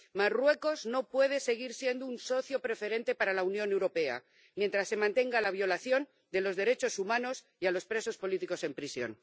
Marruecos no puede seguir siendo un socio preferente para la Unión Europea mientras se mantenga la violación de los derechos humanos y a los presos políticos en prisión.